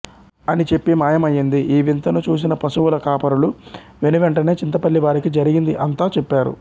అని చెప్పి మాయం అయ్యింది ఈ వింతను చూసిన పశువుల కాపరులు వెనువెంటనే చింతపల్లి వారికి జరిగింది అంతా చెప్పారు